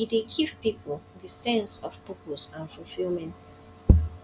e dey give people di sense of purpose and fulfilment